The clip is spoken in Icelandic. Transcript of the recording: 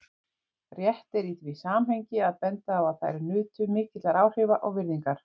Rétt er í því samhengi að benda á að þær nutu mikilla áhrifa og virðingar.